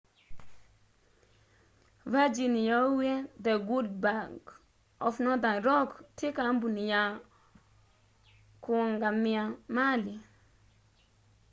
virgin yauwie the good bank of northern rock ti kambuni ya kũungamia mali